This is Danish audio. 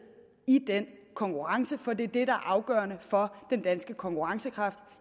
i den konkurrence for det er det der er afgørende for den danske konkurrencekraft